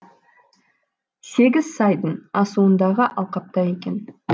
сегіз сайдың асуындағы алқапта екен